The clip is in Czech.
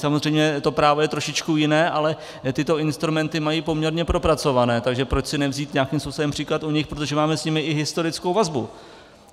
Samozřejmě to právo je trošičku jiné, ale tyto instrumenty mají poměrně propracované, takže proč si nevzít nějakým způsobem příklad od nich, protože máme s nimi i historickou vazbu.